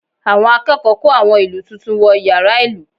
Àwọn akẹ́kọ̀ọ́ kó àwọn ìlù tuntun wọ yàrá ìlù